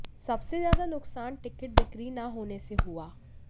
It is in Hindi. सबसे ज्यादा नुकसान टिकट बिक्री न होने से हुआ